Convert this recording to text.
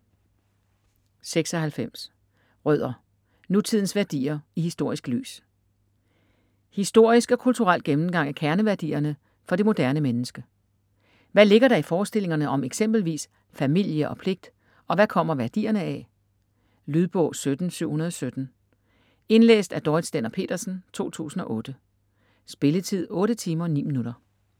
96 Rødder: nutidens værdier i historisk lys Historisk og kulturel gennemgang af kerneværdierne for det moderne menneske. Hvad ligger der i forestillingerne om eksempelvis "familie" og "pligt" - og hvad kommer værdierne af? Lydbog 17717 Indlæst af Dorrit Stender-Pedersen, 2008. Spilletid: 8 timer, 9 minutter.